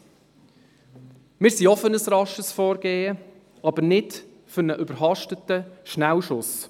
Wir sind auch für ein rasches Vorgehen, aber nicht für einen überhasteten Schnellschuss.